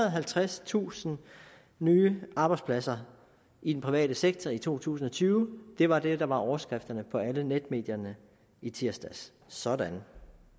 og halvtredstusind nye arbejdspladser i den private sektor i to tusind og tyve det var det der var overskriften på alle netmedierne i tirsdags sådan